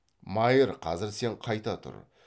майыр қазір сен қайта тұр